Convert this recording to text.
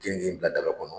Keninge bila daga kɔnɔ